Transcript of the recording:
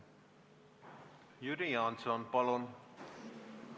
Jüri Jaanson, palun!